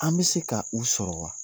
An bɛ se ka u sɔrɔ wa?